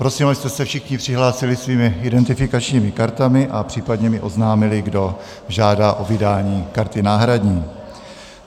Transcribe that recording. Prosím, abyste se všichni přihlásili svými identifikačními kartami a případně mi oznámili, kdo žádá o vydání karty náhradní.